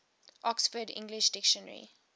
oxford english dictionary